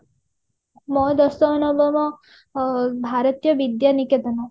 ମୋର ଦଶମ ନବମ ଅ ଭାରତୀୟ ବିଦ୍ୟା ନିକେତନ